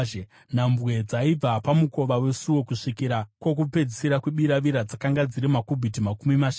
Nhambwe dzaibva pamukova wesuo kusvikira kwokupedzisira kwebiravira dzakanga dziri makubhiti makumi mashanu.